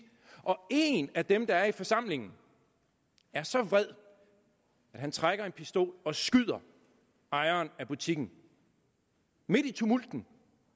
og en af dem der er i forsamlingen er så vred at han trækker en pistol og skyder ejeren af butikken midt i tumulten